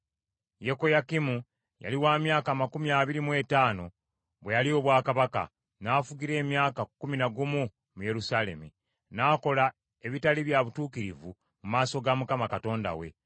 Yekoyakimu yali wa myaka amakumi abiri mu etaano bwe yalya obwakabaka, n’afugira emyaka kkumi na gumu mu Yerusaalemi. N’akola ebitali bya butuukirivu mu maaso ga Mukama Katonda we.